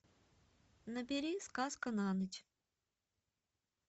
набери сказка на ночь